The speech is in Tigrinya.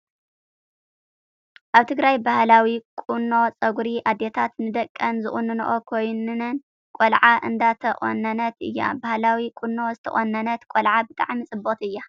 ኣብ ትግራይ ባህላዊ ቁኖ ፀጉሪ ኣደታት ንደቀን ዝቁንና ኮይነን ቆልዓ እንዳተቆነነት እያ። ባህላዊ ቆኖ ዝተቆነነት ቆልዓ ብጣዕሚ ፅብቅቲ እያ ።